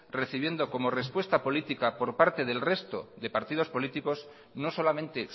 recibiendo como respuesta política por parte del resto de partidos políticos no solamente